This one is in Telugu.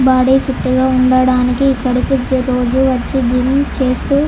బాడీ ఫిట్ గ ఉండటానికి ఇక్కడకొచ్చి రోజు జిమ్ చేస్తూ --